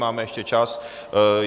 Máme ještě čas.